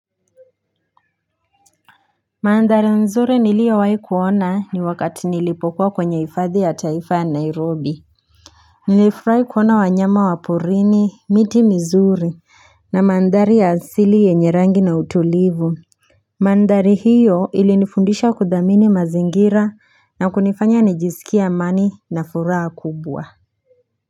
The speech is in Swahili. Mandhari nzuri niliyowahi kuona ni wakati nilipokuwa kwenye hifadhi ya taifa ya Nairobi Nilifurahi kuona wanyama wa porini, miti mizuri na mandhari ya asili yenye rangi na utulivu Mandhari hiyo ilinifundisha kudhamini mazingira na kunifanya nijisikie amani na furaha kubwa.